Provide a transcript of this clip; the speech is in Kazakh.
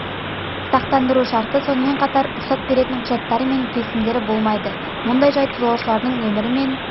сақтандыру шарты сонымен қатар рұқсат беретін құжаттары мен келісімдері болмайды мұндай жайт жолаушлылардың өмірі мен